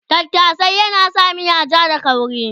Tattashe yana sa miya ja da kauri